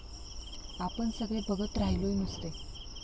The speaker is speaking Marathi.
आपण सगळे बघत राह्य़लोय नुस्ते.